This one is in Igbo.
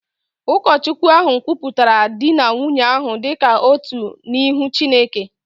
Ụkọchukwu ahụ kwupụtara di na nwunye ahụ dị ka otu n’ihu Chineke